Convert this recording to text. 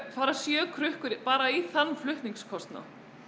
fara sjö krukkur bara í þann flutningskostnað